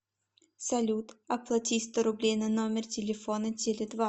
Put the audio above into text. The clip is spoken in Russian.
салют оплати сто рублей на номер телефона теле два